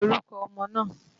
Kí ni orúkọ ọmọ náà?